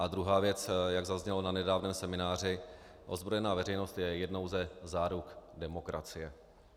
A druhá věc, jak zaznělo na nedávném semináři, ozbrojená veřejnost je jednou ze záruk demokracie.